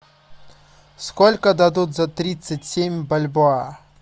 сколько дадут за тридцать семь бальбоа